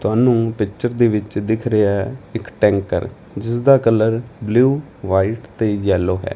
ਤੁਹਾਨੂੰ ਪਿੱਚਰ ਦੇ ਵਿੱਚ ਦਿਖ ਰਿਹਾ ਐ ਇੱਕ ਟੈਂਕਰ ਜਿਸ ਦਾ ਕਲਰ ਬਲੂ ਵਾਈਟ ਤੇ ਯੈਲੋ ਹੈ।